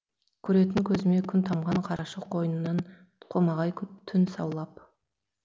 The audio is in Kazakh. көретін көзіме күн тамған қарашық қойнынан қомағай түн саулап